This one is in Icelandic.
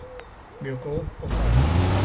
Mjög góð og þæg.